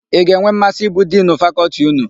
Ị ga-enwe mmasị ịbụ Dinu Fakọltị ụnụ?